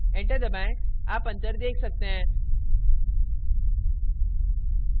enter दबाएं आप अंतर देख सकते हैं